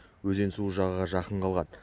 өзен суы жағаға жақын қалған